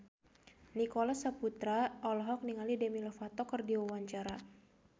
Nicholas Saputra olohok ningali Demi Lovato keur diwawancara